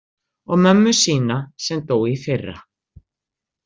Og mömmu sína sem dó í fyrra.